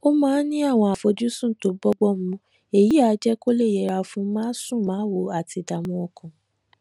ó máa ń ní àwọn àfojúsùn tó bọ́gbọ́n mu èyí á jé kó lè yẹra fún másùnmáwo àti ìdààmú ọkàn